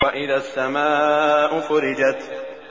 وَإِذَا السَّمَاءُ فُرِجَتْ